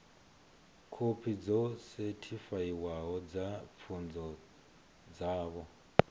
khophi dzo sethifaiwaho dza pfunzo dzavho